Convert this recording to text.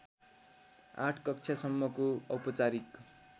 आठ कक्षासम्मको औपचारिक